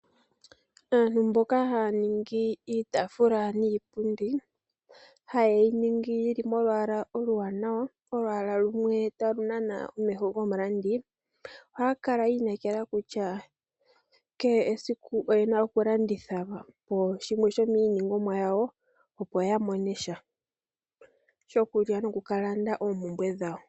Aantu mboka ha ya ningi iitafula niipundi, ha ye yi ningi yi li molwaala oluwanawa, olwaala lumwe ta lu nana, omeho gomulandi, oha ya kala yi inekela kutya, kehe esiku oyena oku landitha, shimwe shomiiningomwa yawo, opo ya monesha shokulya no ku ka landa oompumbwe dhawo.